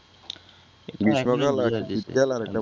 গ্রীষ্মকাল একটা শীতকাল আর বর্ষাকাল